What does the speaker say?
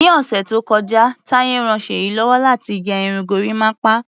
Ni ọ̀sẹ̀ tó kọjá, Taye ran Ṣèyí lọ́wọ́ láti gẹ irun gorímápá.